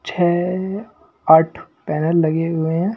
छह आठ पैनल लगे हुए हैं।